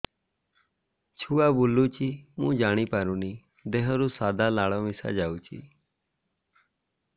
ଛୁଆ ବୁଲୁଚି ମୁଇ ଜାଣିପାରୁନି ଦେହରୁ ସାଧା ଲାଳ ମିଶା ଯାଉଚି